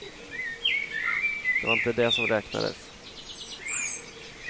Det var inte det som räknades.